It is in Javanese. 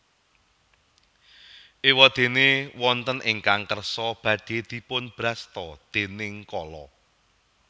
Ewadene wonten ingkang kersa badhe dipun brasta déning Kala